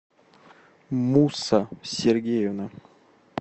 мусса сергеевна